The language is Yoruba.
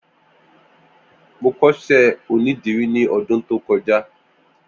Mó kọṣẹ ónìdìrí ni ọ̀dùn tókọ̀já